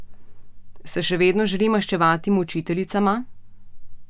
Se še vedno želi maščevati mučiteljicama?